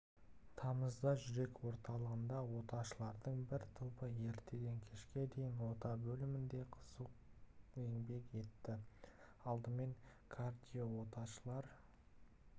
тамызда жүрек орталығында оташылардың бір тобы ертеден кешке дейін ота бөлмесінде қызу еңбек етті алдымен кардиооташылар